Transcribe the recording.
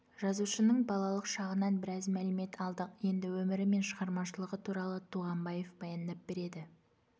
жазушының балалық шағынан біраз мәлімет алдық енді өмірі мен шығармашылығы туралы туғанбаев баяндап береді